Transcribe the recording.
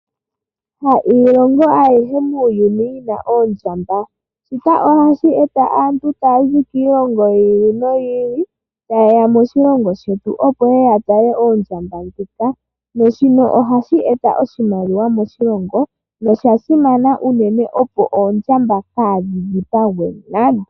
Ha yilongo ayihe muuyuni yi na oondjamba. Shika ohashi eta aantu yaya zi kiilongo yi ili noyi ili taye ya moshilongo shetu, opo ye ye ya tale oondjamba dhika, na shino ohashi eta oshimaliwa moshilongo, nosha simana unene opo oondjamba kaadhi dhipangwe nande.